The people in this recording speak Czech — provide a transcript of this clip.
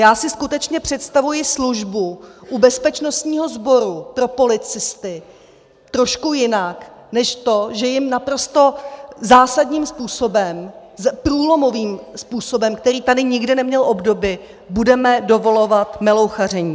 Já si skutečně představuji službu u bezpečnostního sboru pro policisty trošku jinak než to, že jim naprosto zásadním způsobem, průlomovým způsobem, který tady nikdy neměl obdoby, budeme dovolovat melouchaření.